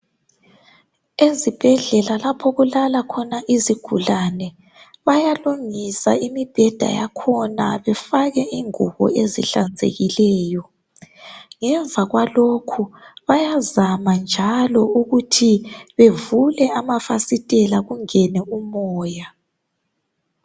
Ezibhedlela lapho okulala khona izigulane. Bayalungisa imibheda yakhona befake ingubo ezihlanzekileyo. Ngemva kwalokho , bayazama njalo ukuthi bevule amafasitela kungene umoya.